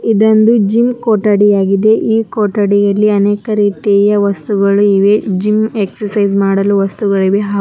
ಇದೋಂದು gym ಕೊಠಡಿ ಆಗಿದೆ ಈ ಕೊಠಡಿಯಲ್ಲಿ ಅನೇಕ ರಿತಿಯ ವಸ್ತುಗಳು ಇವೆ ಜಿಮ್ ಎಕ್ಸಸೈಜ್ ಮಾಡುಲು ವಸ್ತುಗಳಿವೆ ಹಾ --